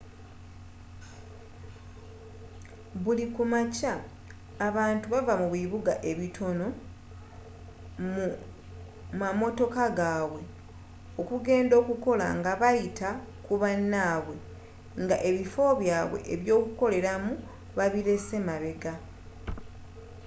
buli ku makya abantu bava mu bibuga ebitono mu matooka g’abwe okugenda okola n’ebayita ku banabwe nga ebifo byabwe ebyokoleramu babilese mabega